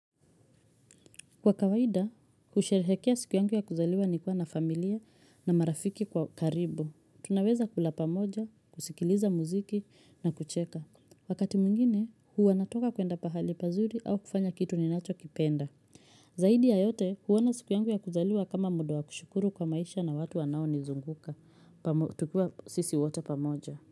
Kwa kawaida, kusherehekea siku yangu ya kuzaliwa ni kuwa na familia na marafiki kwa karibu. Tunaweza kula pamoja, kusikiliza muziki na kucheka. Wakati mwingine, hua natoka kwenda pahali pazuri au kufanya kitu ni nacho kipenda. Zaidi ya yote, huona siku yangu ya kuzaliwa kama muda wa kushukuru kwa maisha na watu wanao nizunguka. Tukiwa sisi wote pamoja.